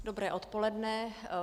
Dobré odpoledne.